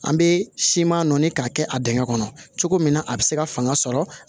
An bɛ siman nɔɔni k'a kɛ a dingɛ kɔnɔ cogo min na a bɛ se ka fanga sɔrɔ